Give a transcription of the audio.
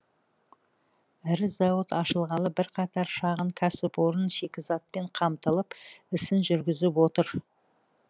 ірі зауыт ашылғалы бірқатар шағын кәсіпорын шикізатпен қамтылып ісін жүргізіп отыр